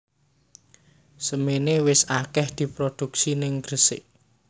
Semene wis akeh diproduksi ning Gresik